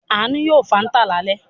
Àánú yóò Fanta lálẹ́ yìí.